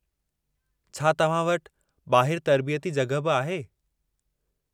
छा तव्हां वटि ॿाहिरि तर्बीयती जॻहि बि आहे?